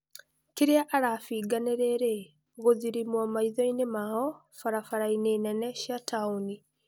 Kĩria arabinga nĩrĩrĩ 'gũthirimwo maithoinĩ mao barabaraini nene cia taũni.'